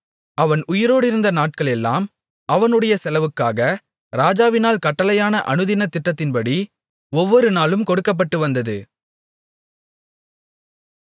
அவன் உயிரோடிருந்த நாட்களெல்லாம் அவனுடைய செலவுக்காக ராஜாவினால் கட்டளையான அனுதினத் திட்டத்தின்படி ஒவ்வொருநாளும் கொடுக்கப்பட்டுவந்தது